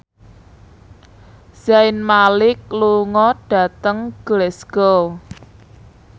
Zayn Malik lunga dhateng Glasgow